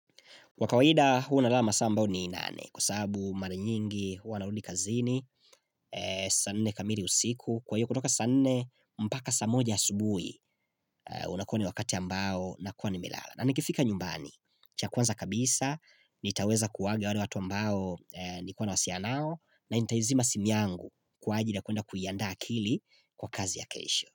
Kwa kawaida hua nalala masaa ambayo ni nane kwa sababu mara nyingi huwa narudi kazini, saa nne kamili usiku, kwa hiyo kutoka saa nne mpaka saa moja asubui unakuwa ni wakati ambao nakuwa nimelala. Na nikifika nyumbani, cha kwanza kabisa, nitaweza kuhaga wale watu ambao nilikuwa nawasiliana nao na nitaizima simu yangu kwa ajili ya kwenda kuiandaa akili kwa kazi ya kesho.